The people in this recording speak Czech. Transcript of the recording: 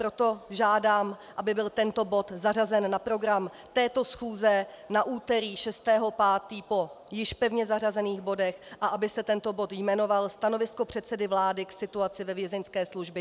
Proto žádám, aby byl tento bod zařazen na program této schůze na úterý 6. 5. po již pevně zařazených bodech a aby se tento bod jmenoval Stanovisko předsedy vlády k situaci ve Vězeňské službě.